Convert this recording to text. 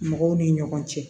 Mɔgɔw ni ɲɔgɔn cɛ